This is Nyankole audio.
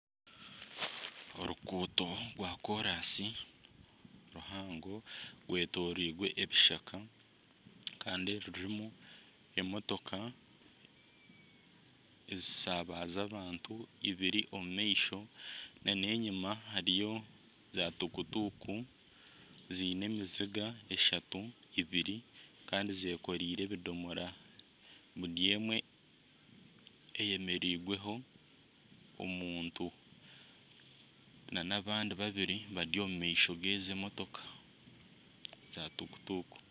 Oruguuto rwakoorasi ruhango rwetooreirwe ebishaka kandi rurimu emotoka ezishabaza abantu ibiri omu maisho nana enyima hariyo za tukutuku ziine emizinga eshatu ibiri kandi zeekoreire ebidomora buri emwe eyemereirweho omuntu nana abandi babiri bari omu maisho g'ezi emotoka za tukutuku